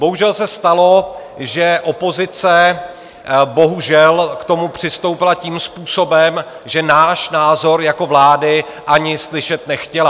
Bohužel se stalo, že opozice bohužel k tomu přistoupila tím způsobem, že náš názor jako vlády ani slyšet nechtěla.